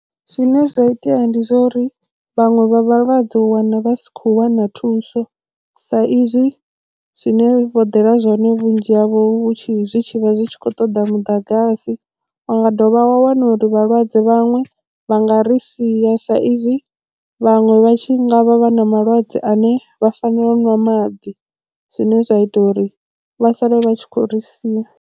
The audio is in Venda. Zwine zwa itea ndi zwa uri vhaṅwe vha vhalwadze u wana vha si khou wana thuso sa izwi zwine vho ḓela zwone vhunzhi havho hu tshi zwi tshi vha zwi tshi khou ṱoḓa muḓagasi wa dovha wa wana uri vhalwadze vhaṅwe vha nga ri sia sa izwi vhaṅwe vha tshi ngavha vha na malwadze ane vha fanela u ṅwa maḓi zwine zwa ita uri vha sale vha tshi khou ri sia.